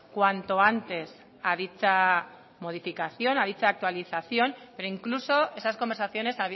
cuanto antes a dicha modificación a dicha actualización pero incluso esas conversaciones